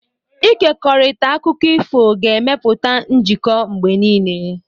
Ịkekọrịta akụkọ ifo ga-emepụta njikọ mgbe niile.